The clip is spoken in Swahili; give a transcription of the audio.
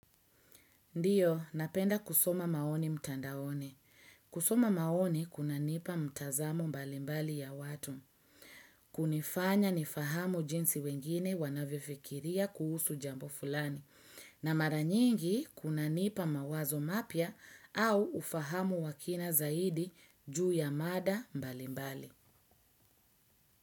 Ndiyo, napenda kusoma maoni mtandaone. Kusoma maoni, kuna nipa mtazamo mbalimbali ya watu. Kunifanya nifahamu jinsi wengine wanavifikiria kuhusu jambo fulani. Na mara nyingi, kuna nipa mawazo mapia au ufahamu wakina zaidi juu ya mada mbalimbali.